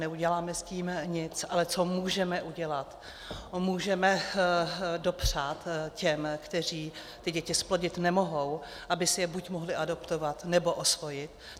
Neuděláme s tím nic, ale co můžeme udělat - můžeme dopřát těm, kteří ty děti zplodit nemohou, aby si je buď mohli adoptovat, nebo osvojit.